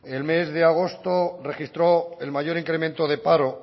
en el mes de agosto registró el mayor incremento de paro